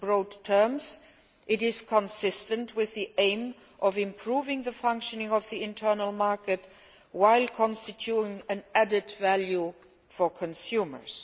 In broad terms, it is consistent with the aim of improving the functioning of the internal market while creating added value for consumers.